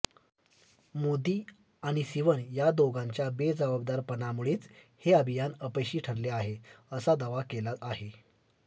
मोदी आणि सिवन या दोघांच्या बेजबाबदारपणामुळेच हे अभियान अपयशी ठरले आहे असा दावा केला आहे